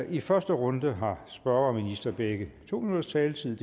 i første runde har spørger og minister begge to minutters taletid